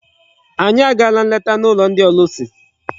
Anyị agaala nleta n'ụlọ ndị ọlụsị.